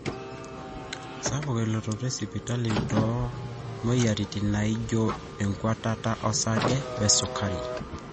sapuk elototo esipitali toomweyiaritin naijo enkuatata osarge wesukari